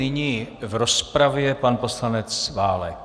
Nyní v rozpravě pan poslanec Válek.